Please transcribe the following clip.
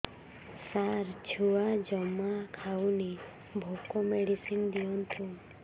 ସାର ଛୁଆ ଜମା ଖାଉନି ଭୋକ ମେଡିସିନ ଦିଅନ୍ତୁ